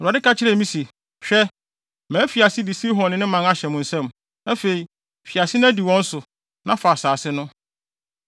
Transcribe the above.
Awurade ka kyerɛɛ me se, “Hwɛ, mafi ase de Sihon ne ne man ahyɛ wo nsam. Afei, fi ase na di wɔn so, na fa nʼasase no.”